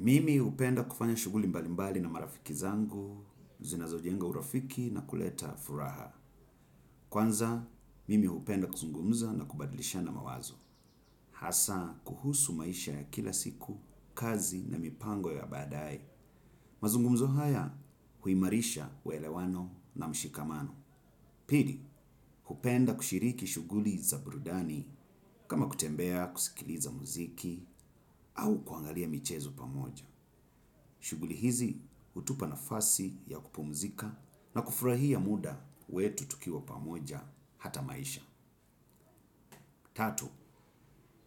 Mimi hupenda kufanya shughuli mbalimbali na marafiki zangu, zinazojenga urafiki na kuleta furaha. Kwanza, mimi hupenda kuzungumza na kubadilishana mawazo. Hasa, kuhusu maisha ya kila siku, kazi na mipango ya baadae. Mazungumzo haya, huimarisha uelewano na mshikamano. Pili, hupenda kushiriki shughuli za burudani, kama kutembea, kusikiliza muziki, au kuangalia michezo pamoja. Shughuli hizi hutupa nafasi ya kupumzika na kufurahia muda wetu tukiwa pamoja hata maisha. Tatu,